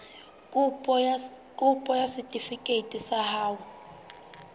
kopo ya setefikeiti sa ho